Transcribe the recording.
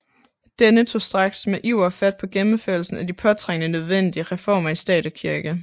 Denne tog straks med iver fat på gennemførelsen af de påtrængende nødvendige reformer i stat og kirke